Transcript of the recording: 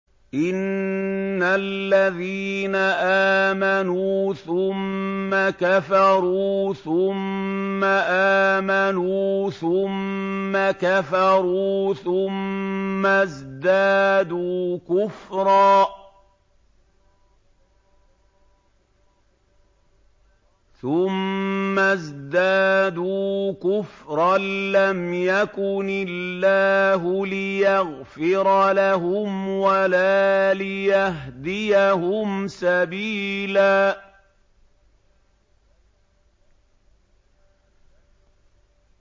إِنَّ الَّذِينَ آمَنُوا ثُمَّ كَفَرُوا ثُمَّ آمَنُوا ثُمَّ كَفَرُوا ثُمَّ ازْدَادُوا كُفْرًا لَّمْ يَكُنِ اللَّهُ لِيَغْفِرَ لَهُمْ وَلَا لِيَهْدِيَهُمْ سَبِيلًا